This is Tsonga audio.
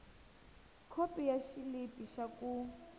khopi ya xilipi xa ku